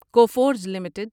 Coforge limited